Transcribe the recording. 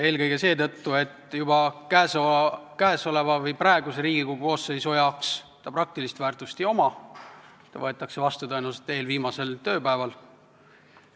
Eelkõige seetõttu, et juba praeguse Riigikogu koosseisu jaoks sellel eelnõul praktilist väärtust ei ole, ta võetakse tõenäoliselt vastu eelviimasel tööpäeval.